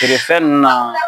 Feere fɛn nunnu na